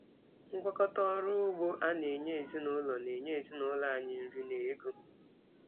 Ngwakọta ọrụ ugbo a na-enye ezinụlọ na-enye ezinụlọ anyị nri na ego.